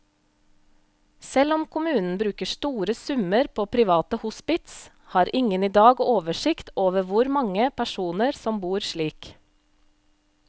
Selv om kommunen bruker store summer på private hospits, har ingen i dag oversikt over hvor mange personer som bor slik.